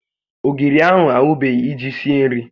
Ogiri a anwụbeghị iji sie nri